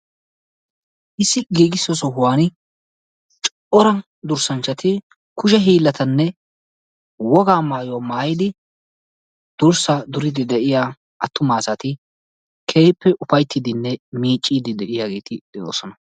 Issi giigisso sohuwani cora durssanchchati kushe hiillatanne wogaa maayuwa maayidi durssaa duriiddi de"iya attuma asati keehippe ufayttiiddinne miicciiddi de"iyageeti de"oosona.